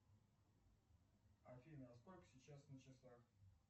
афина сколько сейчас на часах